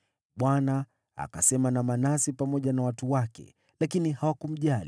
Bwana akasema na Manase pamoja na watu wake, lakini hawakumjali.